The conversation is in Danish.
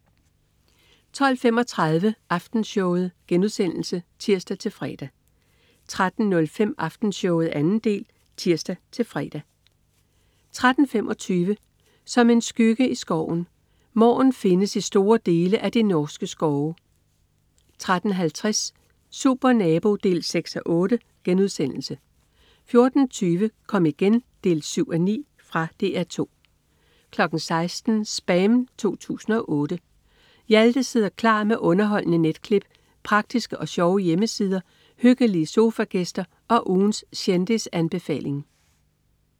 12.35 Aftenshowet* (tirs-fre) 13.05 Aftenshowet 2. del (tirs-fre) 13.25 Som en skygge i skoven. Måren findes i store dele af de norske skove 13.50 Supernabo 6:8* 14.20 Kom igen 7:9. Fra DR 2 16.00 SPAM 2008. Hjalte sidder klar med underholdende netklip, praktiske og sjove hjemmesider, hyggelige sofagæster og ugens kendisanbefaling